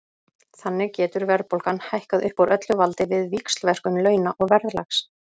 Þannig getur verðbólgan hækkað upp úr öllu valdi við víxlverkun launa og verðlags.